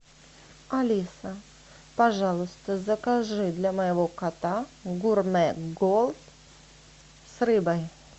алиса пожалуйста закажи для моего кота гурмэ голд с рыбой